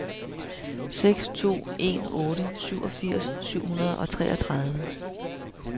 seks to en otte syvogfirs syv hundrede og treogtredive